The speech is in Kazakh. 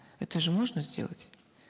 это же можно сделать